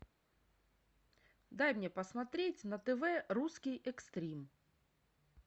дай мне посмотреть на тв русский экстрим